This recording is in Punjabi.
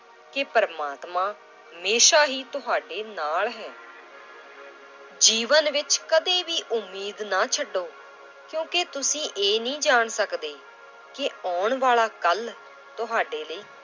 ਕਿ ਪ੍ਰਮਾਤਮਾ ਹਮੇਸ਼ਾ ਹੀ ਤੁਹਾਡੇ ਨਾਲ ਹੈ l ਜੀਵਨ ਵਿੱਚ ਕਦੇ ਵੀ ਉਮੀਦ ਨਾ ਛੱਡੋ ਕਿਉਂਕਿ ਤੁਸੀਂ ਇਹ ਨਹੀਂ ਜਾਣ ਸਕਦੇ ਕਿ ਆਉਣ ਵਾਲਾ ਕੱਲ੍ਹ ਤੁਹਾਡੇ ਲਈ